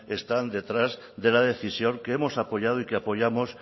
están detrás de la decisión que hemos apoyado y que apoyamos